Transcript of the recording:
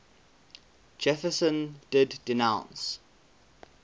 jefferson did denounce